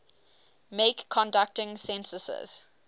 make conducting censuses